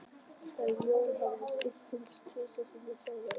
Þegar Jón hafði spurt hins sama tvisvar sinnum sagði Einar